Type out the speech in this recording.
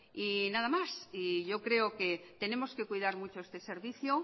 nada más yo creo que tenemos que cuidar mucho este servicio